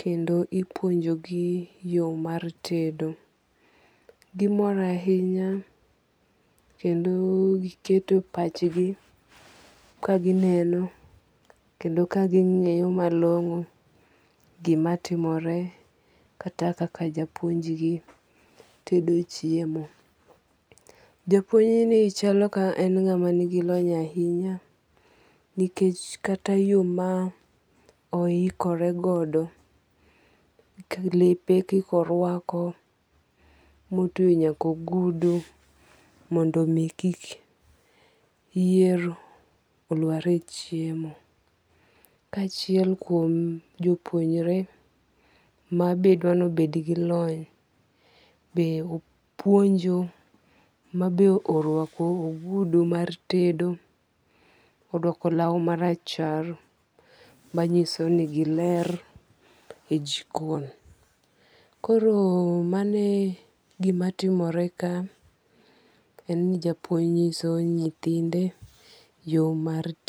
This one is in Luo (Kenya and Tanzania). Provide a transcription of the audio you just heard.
Kendo ipuonjo gi yo mar tedo. Gimor ahinya kendo giketo pach gi kagineno kendo kaging'eyo malong'o gima timore kata kaka japuonjgi tedo chiemo. Japuonj ni chalo ka ng'ama nigi lony ahinya. Nikech kata yo ma ohikore godo, lepe kaka orwako motwe nyaka ogudu mondo mi kik yier olwar e chiemo. Kachiel kuom jopuonjre mabedo nobed gi lony be opuonjo ma be orwako ogudu mar tedo kod law marachar manyiso ni giler e jikon. Koro mane gima timore ka en ni japuonj nyiso nyithinde yo mar.